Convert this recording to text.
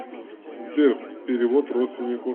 сбер перевод родственнику